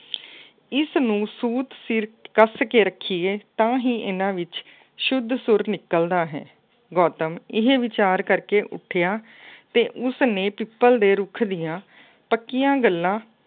ਇਸਨੂੰ ਸੂਤ ਸਿਰ ਕੱਸ ਕੇ ਰੱਖੀਏ ਤਾਂ ਹੀ ਇਹਨਾ ਵਿੱਚ ਸ਼ੁੱਧ ਸੁਰ ਨਿਕਲਦਾ ਹੈ। ਗੌਤਮ ਇਹ ਵਿਚਾਰ ਕਰਕੇ ਉੱਠਿਆ ਅਤੇ ਉਸਨੇ ਪਿੱਪਲ ਦੇ ਰੁੱਖ ਦੀਆਂ ਪੱਕੀਆਂ ਗੱਲਾਂ